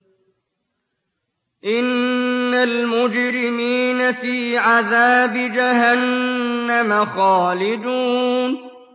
إِنَّ الْمُجْرِمِينَ فِي عَذَابِ جَهَنَّمَ خَالِدُونَ